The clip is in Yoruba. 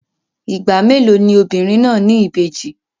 Ìgbà mélòó ni obìnrin náà ní ìbejì?